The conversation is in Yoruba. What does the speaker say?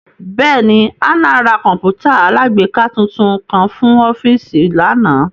Bẹẹni, Hannah ra kọǹpútà alágbèéká tuntun kan fun ọfiisi lana